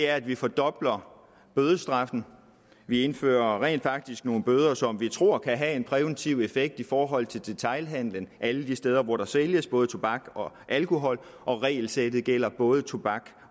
at vi fordobler bødestraffen vi indfører rent faktisk nogle bøder som vi tror kan have en præventiv effekt i forhold til detailhandelen alle de steder hvor der sælges både tobak og alkohol og regelsættet gælder både tobak